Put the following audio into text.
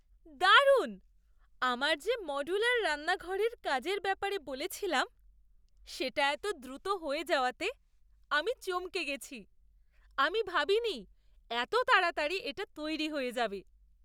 দারুণ! আমার যে মডুলার রান্নাঘরের কাজের ব্যাপারে বলেছিলাম, সেটা এতো দ্রুত হয়ে যাওয়াতে আমি চমকে গেছি! আমি ভাবিনি এতো তাড়াতাড়ি এটা তৈরি হয়ে যাবে।